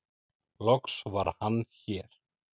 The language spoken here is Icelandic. loks var Hann hér